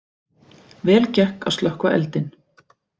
Vel gekk að slökkva eldinn